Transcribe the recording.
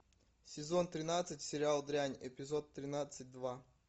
сезон тринадцать сериал дрянь эпизод тринадцать два